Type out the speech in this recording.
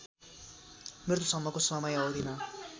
मृत्युसम्मको समय अवधिमा